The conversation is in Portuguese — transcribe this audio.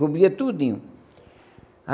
Cobria tudinho.